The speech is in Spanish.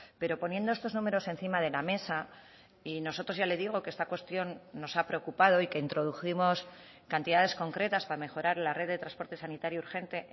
pero poniendo estos números encima de la mesa y nosotros ya le digo que esta cuestión nos ha preocupado y que introdujimos cantidades concretas para mejorar la red de transporte sanitario urgente